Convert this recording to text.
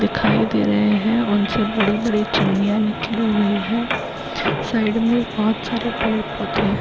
दिखाई दे रहे हैं उनसे बड़ी - बड़ी चिमनियाँ निकली हुई हैं साइड में बहुत सारे पेड़ पौधे हैं।